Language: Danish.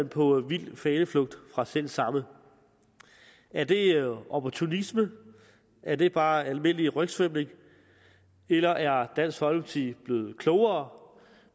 på vild faneflugt fra selv samme er det opportunisme er det bare almindelig rygsvømning eller er dansk folkeparti blevet klogere